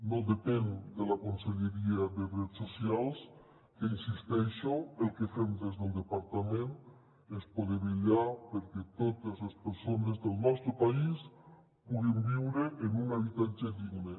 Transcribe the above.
no depèn de la conselleria de drets socials que hi insisteixo el que fem des del departament és poder vetllar perquè totes les persones del nostre país puguin viure en un habitatge digne